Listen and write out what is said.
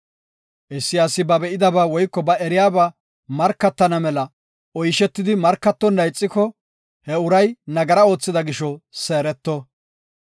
Issi asi ba be7idaba woyko ba eriyaba markatana mela oyshetidi markatonna ixiko he uray nagara oothida gisho seereto.